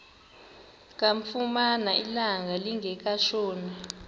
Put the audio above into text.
kamfumana ilanga lingekatshoni